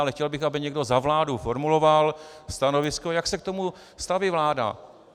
Ale chtěl bych, aby někdo za vládu formuloval stanovisko, jak se k tomu staví vláda.